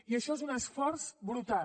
i això és un esforç brutal